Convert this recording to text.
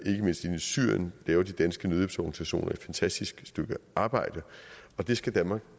syrien laver de danske nødhjælpsorganisationer et fantastisk stykke arbejde og det skal danmark